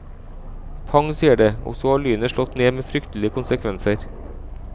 Pang sier det, og så har lynet slått ned med fryktelige konsekvenser.